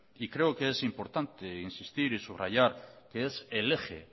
y creo que es importante insistir y subrayar que es el eje